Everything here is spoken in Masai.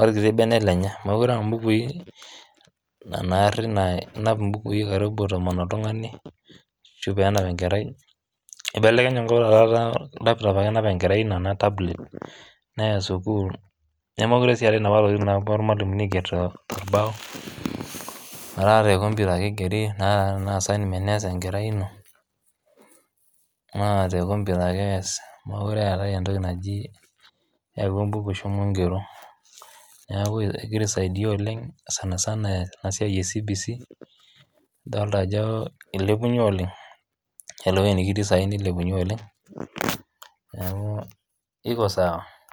orkiti bene lenye, mokure aa mbukui naa nari inap mbukui karibu tomon oltung'ani ashu peenap enkerai. Ibelekenye enkop taata etaa laptop ake enap enkerai ene ena tablet neya sukuul nemekure sii eetai naapa tokin naapuo irmalimuni aiger te torbao etaa te komputa ake igeri naa te naa assignment nees enkerai ino naa te komputa ake ees mokure eetai entoki naji yau embuku shomo ng'ero, Neeku egira aisaidia oleng' sana sana ena siai e CBC idolta ajo ilepunye oleng' iyiolo ewoi nekitii saai nilepunye oleng' neeku iko sawa.